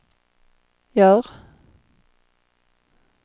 gör